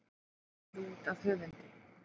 Gefið út af höfundi.